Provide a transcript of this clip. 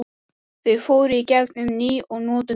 Þau fóru í gegn um ný og notuð nöfn.